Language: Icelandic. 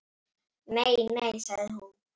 Nei, nei sagði hún.